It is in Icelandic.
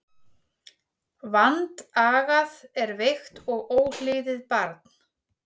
Vandagað er veikt og óhlýðið barn.